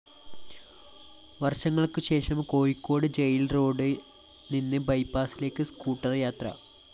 വര്‍ഷങ്ങള്‍ക്കുശേഷം കോഴിക്കോട് ജയില്‍ റോഡില്‍ നിന്ന് ബൈപാസിലേക്ക് സ്കൂട്ടർ യാത്ര